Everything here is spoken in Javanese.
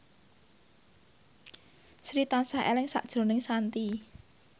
Sri tansah eling sakjroning Shanti